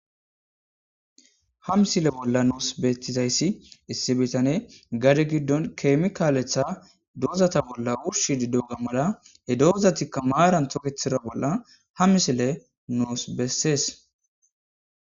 Ha misile bolla nuus beettizayssi issi bitane gadi giddon keemikaaletha dozata bolla wurshi diddo gammara he doozatikka maaran tokethira bolla ha misile nuus bessees.